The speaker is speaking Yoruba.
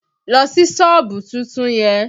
Lọ ṣí sọ́ọ̀bù tuntun yẹn!